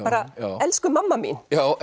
elsku mamma mín